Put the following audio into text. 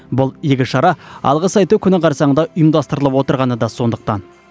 бұл игі шара алғыс айту күні қарсаңында ұйымдастырылып отырғаны да сондықтан